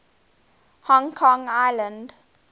hong kong island